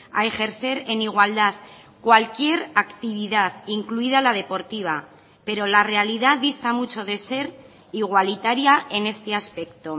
a ejercer en igualdad cualquier actividad incluida la deportiva pero la realidad dista mucho de ser igualitaria en este aspecto